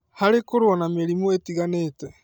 harĩ kũrũa na mĩrimũ ĩtiganĩte.